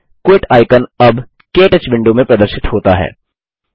quit icon अब के touch window में प्रदर्शित होता है